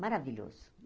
Maravilhoso.